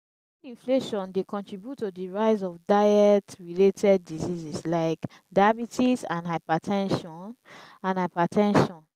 food inflation dey contribute to di rise of diet-related diseases like diabetes and hyper ten sion and hyper ten sion.